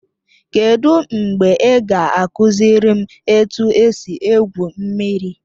Kedụ mgbe ị ga-akụziri m etu esi egwu mmiri?